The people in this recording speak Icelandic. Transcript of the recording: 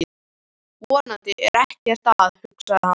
Vonandi er ekkert að, hugsaði hann.